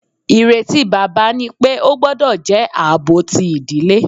Ireti baba ni pe o gbọdọ jẹ aabo ti idile.